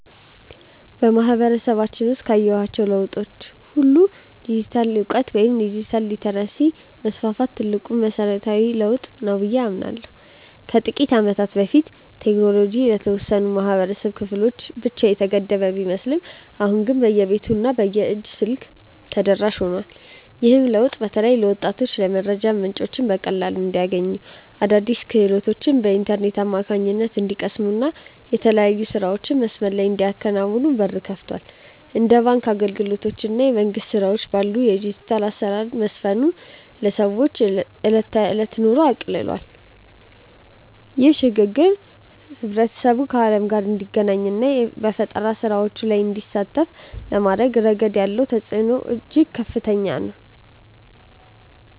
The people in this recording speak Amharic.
በማህበረሰባችን ውስጥ ካየኋቸው ለውጦች ሁሉ የዲጂታል እውቀት ወይም ዲጂታል ሊተረሲ መስፋፋት ትልቁና መሰረታዊው ለውጥ ነው ብዬ አምናለሁ። ከጥቂት ዓመታት በፊት ቴክኖሎጂ ለተወሰኑ የህብረተሰብ ክፍሎች ብቻ የተገደበ ቢመስልም አሁን ግን በየቤቱ እና በየእጅ ስልኩ ተደራሽ ሆኗል። ይህ ለውጥ በተለይ ወጣቶች የመረጃ ምንጮችን በቀላሉ እንዲያገኙ፣ አዳዲስ ክህሎቶችን በኢንተርኔት አማካኝነት እንዲቀስሙ እና የተለያዩ ስራዎችን በመስመር ላይ እንዲያከናውኑ በር ከፍቷል። እንደ ባንክ አገልግሎት እና የመንግስት ስራዎች ባሉ ዘርፎች የዲጂታል አሰራር መስፈኑ የሰዎችን የዕለት ተዕለት ኑሮ አቅልሏል። ይህ ሽግግር ማህበረሰቡ ከዓለም ጋር እንዲገናኝ እና በፈጠራ ስራዎች ላይ እንዲሳተፍ በማድረግ ረገድ ያለው ተጽዕኖ እጅግ ከፍተኛ ነው።